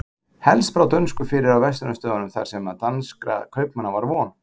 helst brá dönsku fyrir á verslunarstöðunum þar sem danskra kaupmanna var von